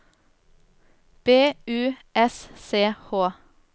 B U S C H